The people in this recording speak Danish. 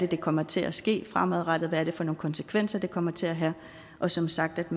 der kommer til at ske fremadrettet og hvad det er for nogle konsekvenser det kommer til at have og som sagt